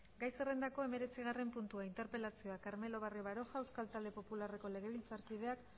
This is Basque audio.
gai zerrendako hemeretzigarren puntua interpelazioa carmelo barrio baroja euskal talde popularreko legebiltzarkideak